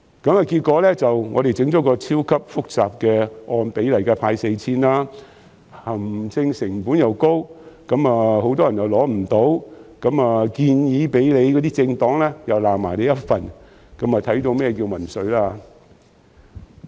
結果，政府設計了一個超級複雜的方案，按比例派發 4,000 元，行政成本高昂，而且很多人未能受惠，連提出建議的政黨也指責政府，這正是所謂的民粹。